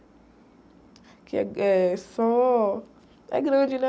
Aqui eh, é só... É grande, né?